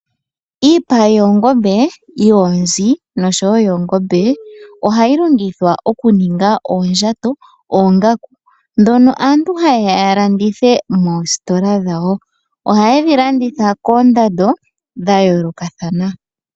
Iipa yoongombe, yoonzi noshowo yoongombe ohayi longithwa oku ninga oondjato, oongaku dhono aantu hayeya ya landithe moostola dhawo. Ohayedhi landitha koondando dha yoolokathana.